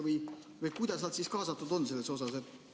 Kuidas nad on sellesse kaasatud?